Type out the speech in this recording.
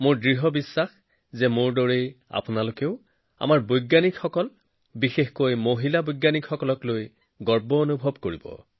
মোৰ বিশ্বাস মোৰ দৰে আপোনালোকেও আমাৰ বিজ্ঞানীসকলক বিশেষকৈ মহিলা বিজ্ঞানীসকলক লৈ গৌৰৱ অনুভৱ কৰে